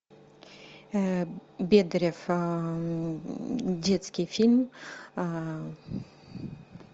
бедарев детский фильм